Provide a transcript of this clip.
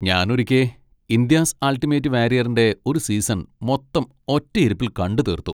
ഞാനൊരിക്കെ 'India's ultimate വാരിയറി'ൻ്റെ ഒരു season മൊത്തം ഒറ്റയിരുപ്പിൽ കണ്ടുതീർത്തു.